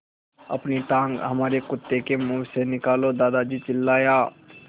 अपनी टाँग हमारे कुत्ते के मुँह से निकालो दादाजी चिल्लाए